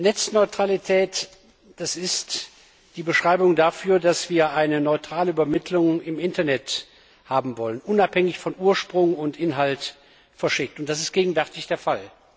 Netzneutralität ist die Beschreibung dafür, dass wir eine neutrale Übermittlung im Internet haben wollen, unabhängig von Ursprung und verschicktem Inhalt. Das ist gegenwärtig der Fall.